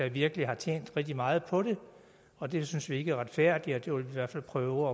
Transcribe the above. virkelig har tjent rigtig meget på det og det synes vi ikke er retfærdigt og det vil vi derfor prøve